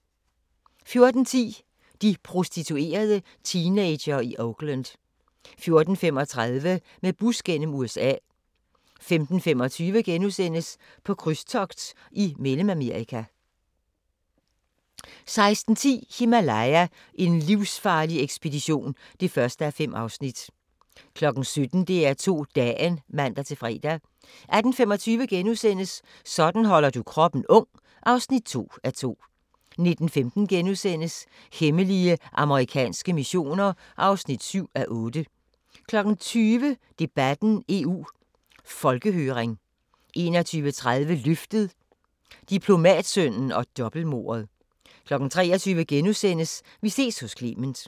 14:10: De prostituerede teenagere i Oakland 14:35: Med bus gennem USA 15:25: På krydstogt i Mellemamerika * 16:10: Himalaya: en livsfarlig ekspedition (1:5) 17:00: DR2 Dagen (man-fre) 18:25: Sådan holder du kroppen ung (2:2)* 19:15: Hemmelige amerikanske missioner (4:8)* 20:00: Debatten: EU Folkehøring 21:30: Løftet – Diplomatsønnen og dobbeltmordet 23:00: Vi ses hos Clement *